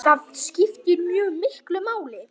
Það skiptir mjög miklu máli.